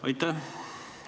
Aitäh!